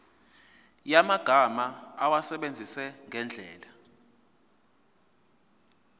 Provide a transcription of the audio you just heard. yamagama awasebenzise ngendlela